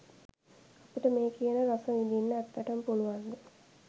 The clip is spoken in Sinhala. අපිට මේ කියන රස විඳින්න ඇත්ත්‍ටම පුළුවන්ද?